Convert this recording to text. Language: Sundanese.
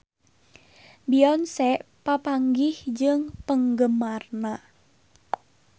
Beyonce papanggih jeung penggemarna